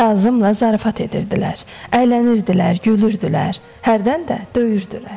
Kazımla zarafat edirdilər, əylənirdilər, gülürdülər, hərdən də döyürdülər.